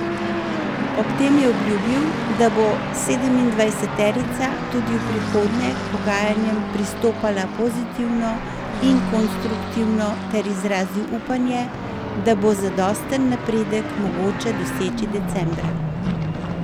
Ob tem je obljubil, da bo sedemindvajseterica tudi v prihodnje k pogajanjem pristopala pozitivno in konstruktivno, ter izrazil upanje, da bo zadosten napredek mogoče doseči decembra.